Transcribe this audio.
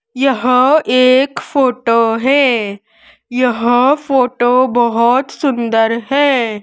यह एक फोटो है यह फोटो बहुत सुंदर है।